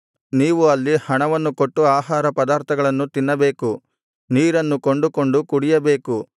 ನೀವು ಅಲ್ಲಿ ಹಣವನ್ನು ಕೊಟ್ಟು ಆಹಾರಪದಾರ್ಥಗಳನ್ನು ತಿನ್ನಬೇಕು ನೀರನ್ನು ಕೊಂಡುಕೊಂಡು ಕುಡಿಯಬೇಕು